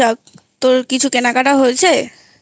তোর কিছু কেনাকাটা হয়েছে?